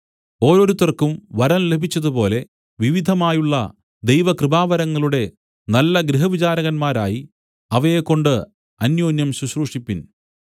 ഓരോരുത്തർക്കും വരം ലഭിച്ചതുപോലെ വിവിധമായുള്ള ദൈവകൃപാവരങ്ങളുടെ നല്ല ഗൃഹവിചാരകന്മാരായി അവയെക്കൊണ്ട് അന്യോന്യം ശുശ്രൂഷിപ്പിൻ